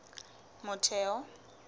motheo